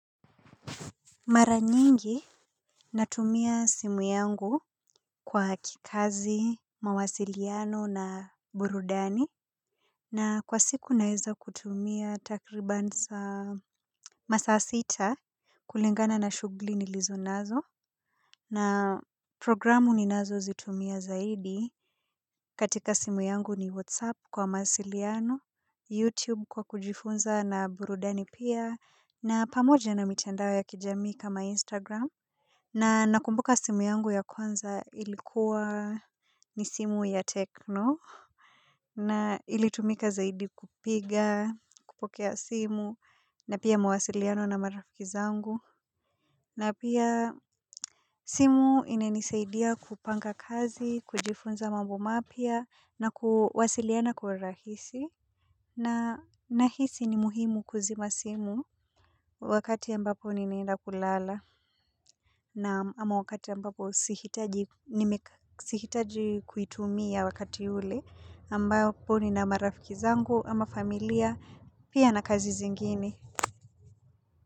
Mara nyingi natumia simu yangu kwa kikazi, mawasiliano na burudani. Na kwa siku naweza kutumia takribani masaa sita. Kulingana na shughuli nilizo nazo. Na programu ninazozitumia zaidi katika simu yangu ni whatsapp kwa mawasiliano, youtube kwa kujifunza na burudani pia na pamoja na mitandao ya kijamii kama instagram. Na nakumbuka simu yangu ya kwanza ilikuwa ni simu ya tecno. Na ilitumika zaidi kupiga, kupokea simu, na pia mawasiliano na marafiki zangu na pia simu inanisaidia kupanga kazi, kujifunza mambo mapya na kuwasiliana kwa urahisi na nahisi ni muhimu kuzima simu wakati ambapo ninaenda kulala na ama wakati ambapo sihitaji sihitaji kuitumia wakati ule ambapo nina marafiki zangu ama familia pia na kazi zingine.